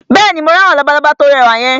Bẹ́ẹ̀ni, mo rí àwọn labalábá tí ó rẹwà yẹn